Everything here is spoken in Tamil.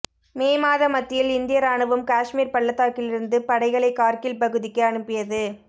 மே மாத மத்தியில் இந்திய இராணுவம் காஷ்மீர் பள்ளத்தாக்கிலிருந்து படைகளை கார்கில் பகுதிக்கு அனுப்பியது